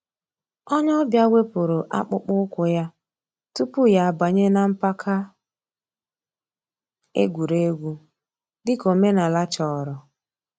Ònyè ọ̀ bịa wépụ̀rù àkpụ̀kpọ̀ ǔ́kwụ̀ yà túpù yà àbànyè nà mpàka ègwè́ré́gwụ̀, dị̀ka òmènàlà chọ̀rọ̀.